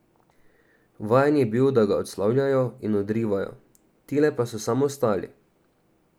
Vajen je bil, da ga odslavljajo in odrivajo, tile pa so samo stali.